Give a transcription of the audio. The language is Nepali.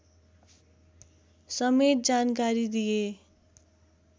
समेत जानकारी दिए